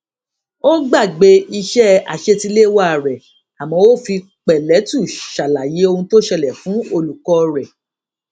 ó gbàgbé iṣé àṣetiléwá rè àmó ó fi pèlétù ṣàlàyé ohun tó ṣẹlè fún olùkó rè